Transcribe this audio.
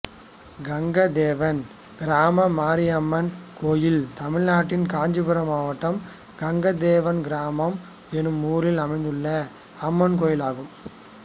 கங்காதேவன் கிராமம் மாரியம்மன் கோயில் தமிழ்நாட்டில் காஞ்சிபுரம் மாவட்டம் கங்காதேவன் கிராமம் என்னும் ஊரில் அமைந்துள்ள அம்மன் கோயிலாகும்